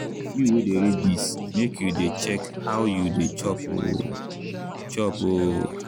you wey dey read this make you dey check how you dey chop o! chop o!